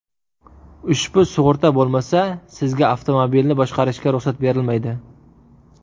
Ushbu sug‘urta bo‘lmasa, Sizga avtomobilni boshqarishga ruxsat berilmaydi.